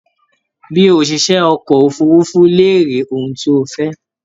Bi òṣìṣẹ́ ọkọ̀ òfurufu léèrè ohun tó o fẹ́!